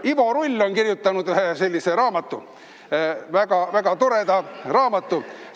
Ivo Rull on kirjutanud ühe sellise väga toreda raamatu.